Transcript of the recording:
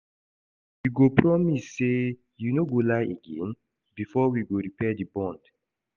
You go promise sey you no go lie again before we go repair di bond.